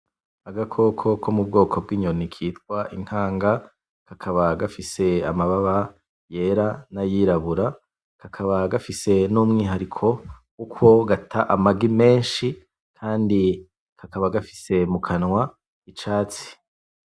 Agakoko ko mu bwoko bw’inyoni kitwa inkanga, kakaba gafise amabara yera n’ayirabura, kakaba gafise n’umwuhariko wuko gata amagi menshi Kandi kakaba gafise mu kanwa h’icatsi.